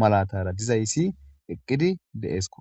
malatara de7izayssi eqqidi de7eskko.